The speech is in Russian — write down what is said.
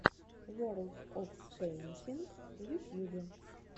ворлд оф пэйнтинг в ютьюбе